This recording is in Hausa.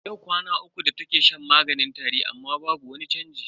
Yau kwana uku da take shan maganin tari amma babu wani chanji.